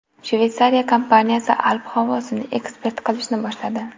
Shveysariya kompaniyasi alp havosini eksport qilishni boshladi.